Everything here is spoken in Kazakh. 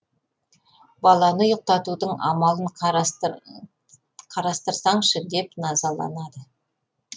баланы ұйықтатудың амалын қарастырсаңшы деп назаланады